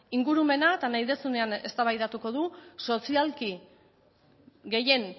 ingurumena eta nahi duzunean eztabaidatuko dugu sozialki gehien